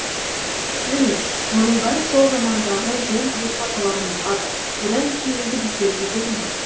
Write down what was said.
міне мұның бәрі сол замандағы жөн білетін аталарымызға да одан кейінгі біздерге де жұмбақ